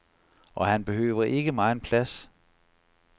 Og han behøver ikke megen plads.